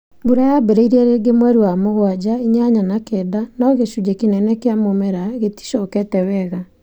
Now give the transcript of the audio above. Mbura yaambĩrĩirie rĩngĩ mweri wa mũgwaja, inyanya na kenda no gĩcunjĩ kĩnene kĩa mũmera gĩticokete wega.